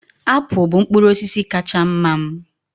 Apụl bụ mkpụrụ osisi kacha mma m